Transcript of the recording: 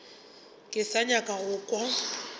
ke sa nyaka go kwa